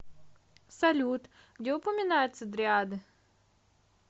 салют где упоминается дриады